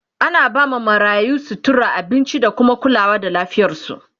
ana ba ma marayu, sutura, abinci da kuma kulawa da lafiyarsu